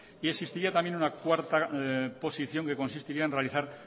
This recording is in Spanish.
y existiría una cuarta posición que consistiría en realizar